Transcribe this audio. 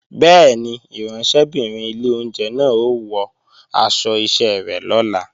Bẹ́ẹ̀ni, ìránṣẹ́bìnrin ilé oúnjẹ náà ó wọ aṣọ iṣẹ́ rẹ̀ lọ́la